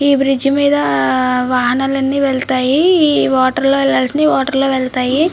ఇ bridge మిద వాహనాలు అని వెళ్తాయి. వాటర్ వెళ్లాల్సినవి వాటర్ లో వెళ్తాయి.